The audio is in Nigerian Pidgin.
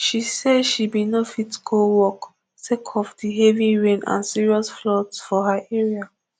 she say she bin no fit go work sake of di heavy rain and serious floods for her area